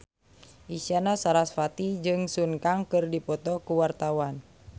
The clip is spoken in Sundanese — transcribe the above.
Isyana Sarasvati jeung Sun Kang keur dipoto ku wartawan